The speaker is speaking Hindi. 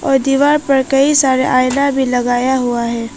और दीवार पर कई सारे आईना भी लगाया हुआ है।